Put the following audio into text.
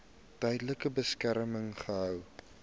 tydelike beskerming gehou